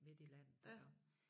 Midt i landet og